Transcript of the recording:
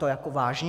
To jako vážně?